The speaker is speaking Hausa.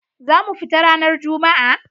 za mu fita ranar Juma'a.